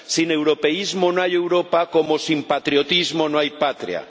Sin europeísmo no hay Europa, como sin patriotismo no hay patria.